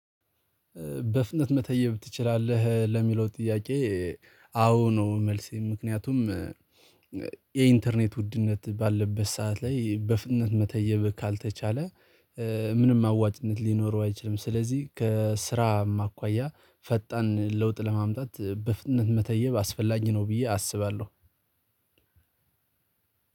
በፍጥነት መተየብ ትችላለህ ለሚለው ጥያቄ? አዎ ነው መልሴ ምክንያቱም። የኢንተርኔት ውድነት ባለበት ሰዓት ላይ በፍጥነት መተየብ ካልተቻለ ምንም አዋጭነት ሊኖረው አይችልም። ስለዚህ ከስራም አኳያ ፈጣን ለውጥ ለማምጣት በፍጥነት መተየብ አስፈላጊ ነው ብዬ አስባለሁ።